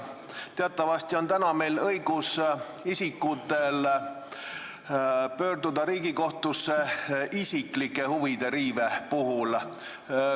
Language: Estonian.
Teatavasti on praegu isikutel õigus pöörduda Riigikohtusse isiklike huvide riive korral.